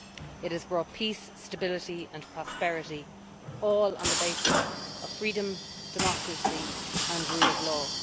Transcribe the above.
It has brought peace, stability and prosperity all on the basis of freedom, democracy and rule of law.